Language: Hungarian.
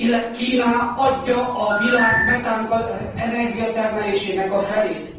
Kína adja a világ metánenergia termelésének a felét.